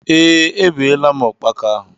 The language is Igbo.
Ee, E beela m ukpaka ahụ.